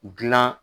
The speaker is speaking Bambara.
Gilan